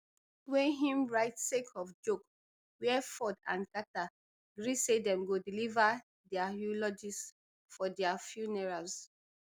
wey im write sake of joke wia ford and carter gree say dem go deliver dia eulogies for dia funerals